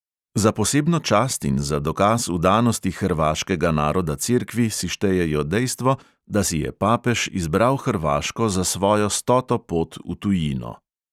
Za posebno čast in za dokaz vdanosti hrvaškega naroda cerkvi si štejejo dejstvo, da si je papež izbral hrvaško za svojo stoto pot v tujino.